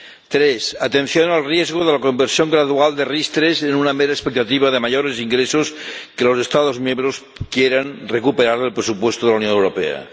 Tres atención al riesgo de la conversión gradual de las RIS3 en una mera expectativa de mayores ingresos que los Estados miembros quieran recuperar del presupuesto de la Unión Europea.